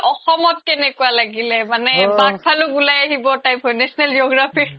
অসমত কেনেকুৱা লাগিলে মানে বাঘ ভালুক উলাই আহিব type হয় national geography